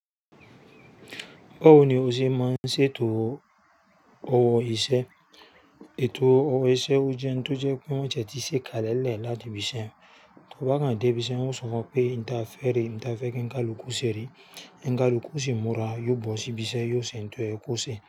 Ba wo ni ó ṣe mọ́ ń ṣètò òwò iṣẹ́? Ètò òwò iṣẹ́ ó jẹ́ n tó jẹ́ pé wọ́n tiẹ́ ti ṣe kalẹ̀ lẹ́ láti ibi iṣẹ́. To bá kan dé ibi iṣẹ́, wọ́n ó sọ fún ọ pé, "N ta fè rè, n ta fẹ́ kí nkálùku ṣe ré." N kálùku ṣi múra, yóò bọ́ sí ibi iṣẹ́, yóò ṣè n tò yẹ̀ kó ṣe.